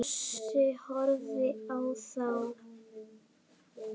Bjössi horfir á þá.